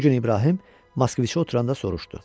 Bu gün İbrahim Moskoviçi oturanda soruşdu.